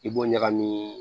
I b'o ɲagami